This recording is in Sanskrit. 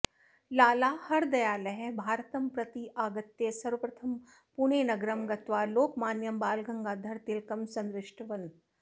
लाला हरदयालः भारतम् प्रत्यागत्य सर्वप्रथमं पुणेनगरं गत्वा लोकमान्यं बालगङ्गाधर तिलकं सन्दृष्टवन्